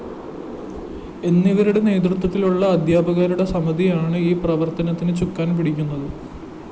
എന്നിവരുടെ നേതൃത്വത്തിലുള്ള അദ്ധ്യാപകരുടെ സമിതിയാണ് ഈ പ്രവര്‍ത്തനത്തിന് ചുക്കാന്‍ പിടിക്കുന്നത്